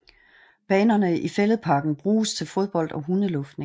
Banerne i Fælledparken bruges til fodbold og hundeluftning